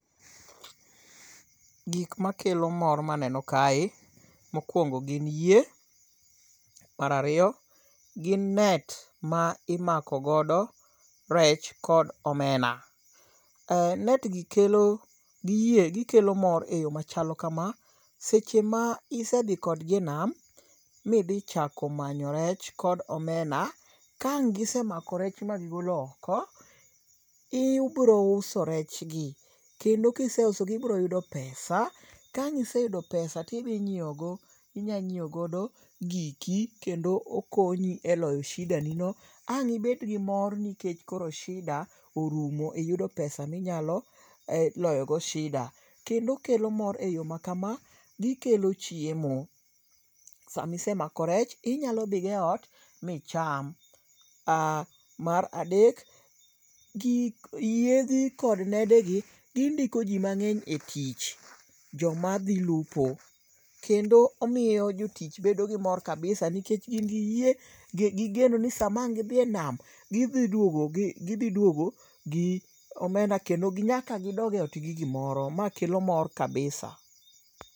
Gikl mmakelo mor maneno kae, mokuongo gin yie, mar ariyo gin net ma imako godo rech kod omena. Net gi kelo gi yie gikelo mor eyo machalo kama, eseche ma idhi kodgi e nam ma idhi chako manyo rech kod omena, ka ang' gise mako rech ma gigolo oko, ibiro uso rechgi kendo kise usogi ibiro yudo pesa, ka ang' iseyudo pesa to idhi ng'iewogo giki kendo okonyi eloyo shida nigo, ang' nibed gi mor nikech koro sida orumo, Kendo okelo mor eyo makama, gikelo chiemo, sama isemako rech, inyalo dhi go eot micham. Mar adek, kik yedhe kod nedegi, gindiko ji mang'eny e tich, jomadhi lupo, omiyo jotich bedo gi mor kabisa nikech gin gi geno ni sama ang' gidhi e nam, gidhi duogo gidhi duogo gi omena kendo nyaka gidog e ot gi gimoro makelo mor kabisa.